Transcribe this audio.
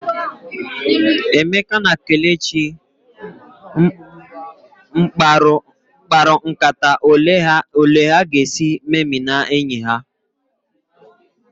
Emeka na Kelechi mkparu nkata ole ha ga esị meminaa enyi ha